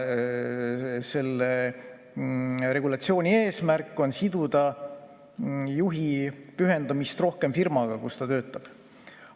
Selle eesmärk on siduda juhti rohkem firmaga, kus ta töötab.